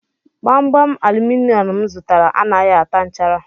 Gbamgbam aluminum m zụtara anaghị ata nchara